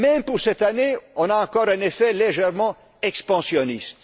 Même pour cette année, on a encore un effet légèrement expansionniste.